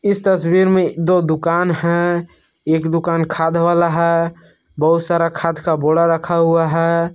इस तस्वीर में दो दुकान है एक दुकान खाद वाला है बहुत सारा खाद का बोरा रखा हुआ है।